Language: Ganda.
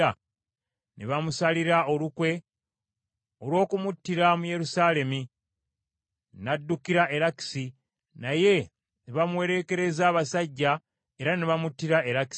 Ne bamusalira olukwe olw’okumuttira mu Yerusaalemi, n’addukira e Lakisi, naye ne bamuwerekereza abasajja era ne bamuttira e Lakisi.